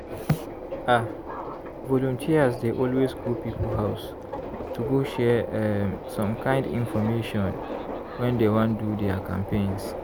ah! volunteers dey always go people house to go share um some kind infomation when dey wan do their campaigns.